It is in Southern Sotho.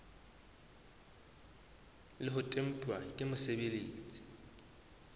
le ho tempuwa ke mosebeletsi